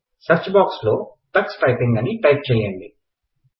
search box లో Tux typing అని type చేయైండి